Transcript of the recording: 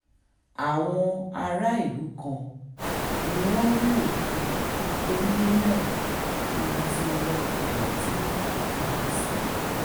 àwọn aráàlú kan ni wọ́n rí òkú géńdé náà níbi tí iná ẹlẹ́tíríìkì pa á sí